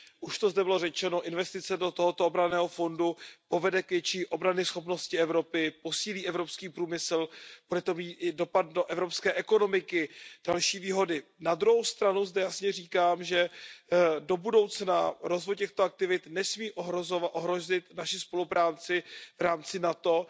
Už to zde bylo řečeno, investice do tohoto obranného fondu povede k větší obranyschopnosti Evropy, posílí evropský průmysl, bude to mít dopad i na evropské ekonomiky, to jsou další výhody. Na druhou stranu zde jasně říkám, že do budoucna rozvoj těchto aktivit nesmí ohrozit naši spolupráci v rámci NATO.